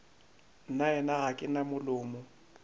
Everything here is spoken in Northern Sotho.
nnaena ga ke na molomo